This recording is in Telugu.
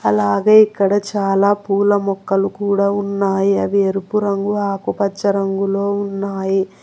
అలాగే ఇక్కడ చాలా పూల మొక్కలు కూడా ఉన్నాయి అవి ఎరుపు రంగు ఆకుపచ్చ రంగుల్లో ఉన్నాయి.